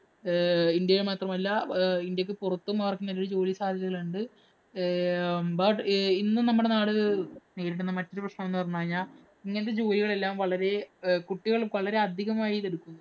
ആഹ് ഇന്ത്യയില്‍ മാത്രമല്ല, അഹ് ഇന്ത്യയ്ക്ക് പുറത്തും അവര്‍ക്ക് നല്ലൊരു ജോലിസാധ്യതകള്‍ ഉണ്ട്. ഏർ But ഇന്ന് നമ്മടെ നാട് നേരിടുന്ന മറ്റൊരു പ്രശ്നം എന്ന് പറഞ്ഞുകഴിഞ്ഞാല്‍ ഇങ്ങനത്തെ ജോലികളെല്ലാം വളരെ കുട്ടികള്‍ വളരെ അധികമായി ഇത് എടുക്കുന്നു.